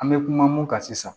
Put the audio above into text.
An bɛ kuma mun kan sisan